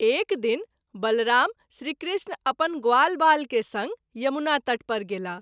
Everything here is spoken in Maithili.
एक दिन बलराम श्री कृष्ण अपन ग्वालवाल के संग यमुना तट पर गेलाह।